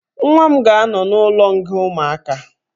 Nwa m ga-anọ n'ụlọnga ụmụaka